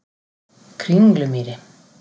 Kringlumýri